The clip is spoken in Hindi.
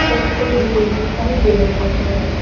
तखटे भी दिखाई दे रहे हैं।